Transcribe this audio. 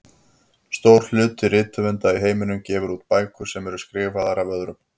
Stór hluti rithöfunda í heiminum gefur út bækur sem eru skrifaðar af öðrum.